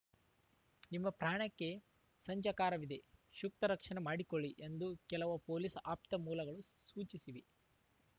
ನಿಮ್ಮ ಪ್ರಾಣಕ್ಕೆ ಸಂಜಾಕಾರವಿದೆ ಸೂಕ್ತ ರಕ್ಷಣೆ ಮಾಡಿಕೊಳ್ಳಿ ಎಂದು ಕೆಲವು ಪೊಲೀಸ್‌ ಆಪ್ತ ಮೂಲಗಳು ಸೂಚಿಸಿವೆ